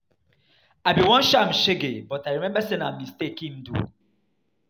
I bin wan show am shege but I remember say na mistake im do.